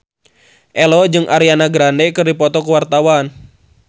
Ello jeung Ariana Grande keur dipoto ku wartawan